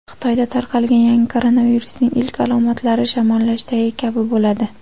Xitoyda tarqalgan yangi koronavirusning ilk alomatlari shamollashdagi kabi bo‘ladi.